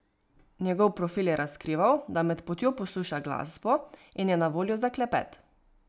Njegov profil je razkrival, da med potjo posluša glasbo in je na voljo za klepet.